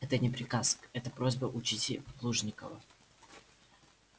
это не приказ это просьба учтите плужников